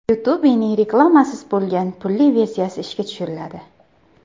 YouTube’ning reklamasiz bo‘lgan pulli versiyasi ishga tushiriladi.